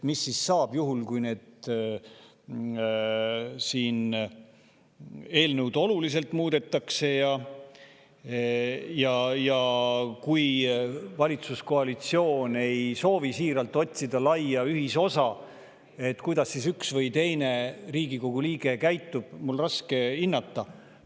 Mis saab juhul, kui eelnõu oluliselt muudetakse või kui valitsuskoalitsioon ei soovi siiralt otsida laia ühisosa, kuidas siis üks või teine Riigikogu liige käitub, on mul raske hinnata.